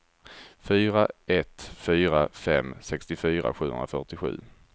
fyra ett fyra fem sextiofyra sjuhundrafyrtiosju